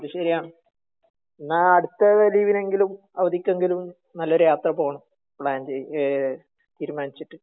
ആഹ് അത് ശെരിയാണ്. എന്നാ അടുത്ത ലീവിനെങ്കിലും അവധിക്കെങ്കിലും നല്ലൊരു യാത്ര പോണം തീരുമാനിച്ചിട്ട്